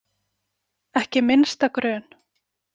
Ekki minnsta grun.